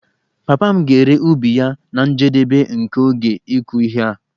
Papa m ga-ere ubi ya na njedebe nke oge ịkụ ihe a